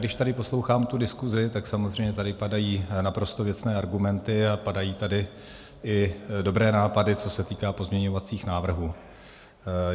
Když tady poslouchám tu diskusi, tak samozřejmě tady padají naprosto věcné argumenty a padají tady i dobré nápady, co se týká pozměňovacích návrhů.